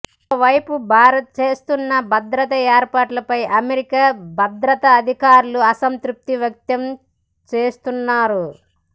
మరోవైపు భారత్ చేస్తున్న భద్రతా ఏర్పాట్లపై అమెరికా భద్రతాధికారులు అసంతృప్తివ్యక్తం చేస్తున్నారు